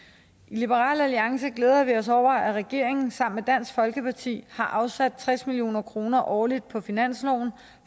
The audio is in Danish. liberal alliance glæder vi os over at regeringen sammen med dansk folkeparti har afsat tres million kroner årligt på finansloven